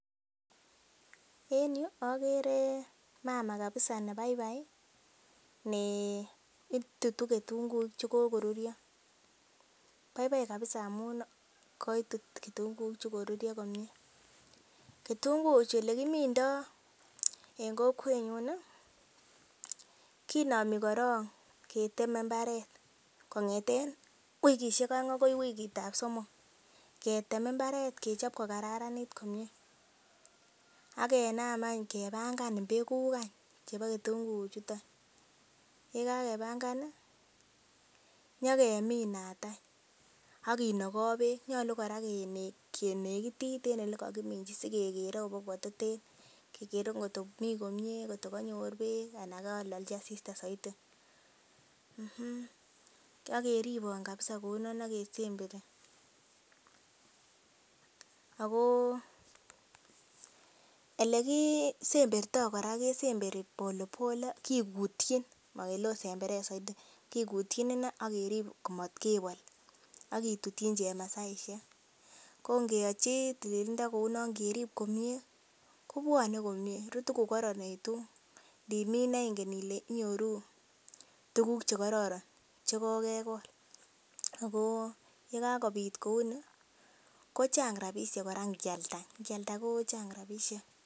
En yuu okere mama kabisa nekabai nee itutu ketunguuk chekokoruryo baibai kabisa amun koitu ketunguuk chekokoruryo komie. Kitunguuk chuu olekimindo en kokwenyun nii kinomi korong ketemen imbaret kongeten wikishek oeng akoi wikitab somok ketemen imbaret kechoben ko kararanit komie ak kenam ang kepanga [ca]mbegu any chebo ketunguuk chuton. Yekakepanga nii nyokeminat any akinoki beek nyolu Koraa kenekitit en yoton elekokiminchi sikekere kototen kekere kotko mii komie kekere kotko konyor beek anan kololchi asista soiti mmh okeribon kabisa kouno akesemberi. Ako ele kii semberto Koraa kikutyin mokele it semberet soidi, kikutyin ine akerib motkebol akitutyin chemasaishek ko ngeyochi tililindo kouno ngerib komie kobwone komie rutu ko koronekitun ndimin ine inken Ile inyoruu tukuk chekoron chekokekol ako yekakipit kounin kochang rabishek Koraa nkialda nkialda kochang rabishek.